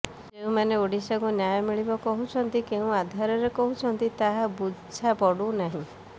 ଯେଉଁମାନେ ଓଡିଶାକୁ ନ୍ୟାୟ ମିଳିବ କହୁଛନ୍ତି କେଉଁ ଆଧାରରେ କହୁଛନ୍ତି ତାହା ବୁଝାପଡୁନାହିଁ